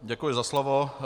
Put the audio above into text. Děkuji za slovo.